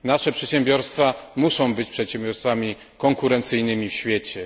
Nasze przedsiębiorstwa muszą być przedsiębiorstwami konkurencyjnymi na świecie.